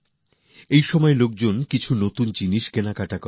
এই সময় সাধারণ মানুষ কিছু না কিছু নতুন কিনে থাকেন